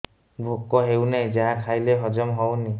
ଭୋକ ହେଉନାହିଁ ଯାହା ଖାଇଲେ ହଜମ ହଉନି